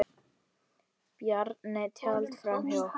Bjarni taldi fram fyrir okkur.